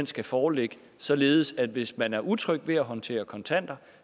skal foreligge således at hvis man er utryg ved at håndtere kontanter